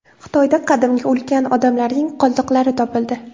Xitoyda qadimgi ulkan odamlarning qoldiqlari topildi.